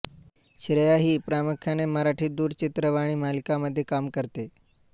श्रेया ही प्रामुख्याने मराठी दूरचित्रवाहिणी मालिकांमध्ये काम करते